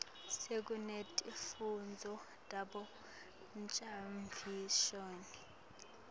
sekunetifundvo tabo ngcondvomshini